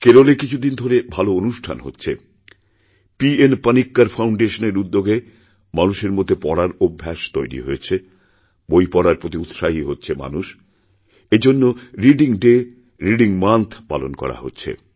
কেরলে কিছু দিন ধরে ভালো অনুষ্ঠান হচ্ছে পি এনপানিক্কর ফাউণ্ডেশনের উদ্যোগে মানুষের মধ্যে পড়ার অভ্যাস তৈরি হয়েছে বই পড়ারপ্রতি উৎসাহী হচ্ছে মানুষ এই জন্য রিডিং ডে রিডিং মান্থ পালন করা হচ্ছে